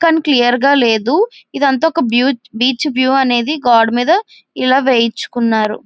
కానీ క్లియర్ గా లేదు. ఇది అంతా ఒక్క బీచ్ వ్యూ అనేది గోడ మీద ఇలా వేయిచుకున్నారు.